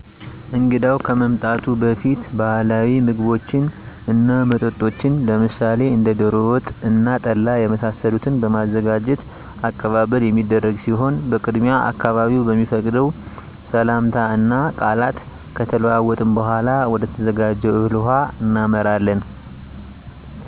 እንግዳው ከመምጣቱ በፊት ባህላዊ ምግቦችን እና መጠጦችን ለምሳሌ እንደ ደሮ ወጥ እና ጠላ የመሳሰሉትን በማዘጋጅ አቀባበል የሚደረግ ሲሆን በቅድሚያ አካባቢዉ በሚፈቅደው ሰላምታ እና ቃላት ከተለዋወጥን በኃላ ወደተዘጋጀው እህል ውሃ እናመራለን።